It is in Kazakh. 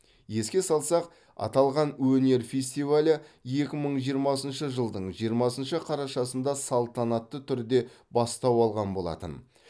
еске салсақ аталған өнер фестивалі екі мың жиырмасыншы жылдың жиырмасыншы қарашасында салтанатты түрде бастау алған болатын